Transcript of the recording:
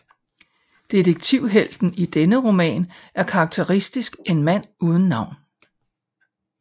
Detektivhelten i denne roman er karakteristisk en mand uden navn